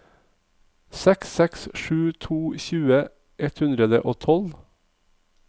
seks seks sju to tjue ett hundre og tolv